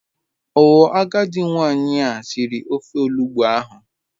Oo agadi nwanyi a siri ofe olugbu ahu